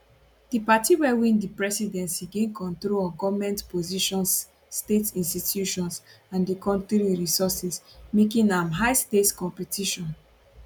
di party wey win di presidency gain control of goment positions state institutions and di kontri resources making am highstakes competition